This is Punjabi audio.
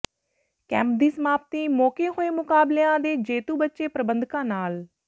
ਕੈਂਪ ਦੀ ਸਮਾਪਤੀ ਮੌਕੇ ਹੋਏ ਮੁਕਾਬਲਿਆਂ ਦੇ ਜੇਤੂ ਬੱਚੇ ਪ੍ਰਬੰਧਕਾਂ ਨਾਲ